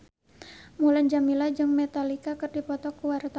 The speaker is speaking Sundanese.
Mulan Jameela jeung Metallica keur dipoto ku wartawan